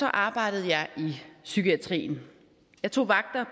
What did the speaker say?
arbejdede jeg i psykiatrien jeg tog vagter